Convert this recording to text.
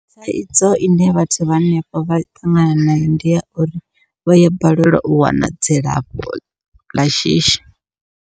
Thaidzo ine vhathu vha hanefho vha ṱangana nayo, ndi ya uri vha ya balelwa u wana dzilafho ḽa shishi.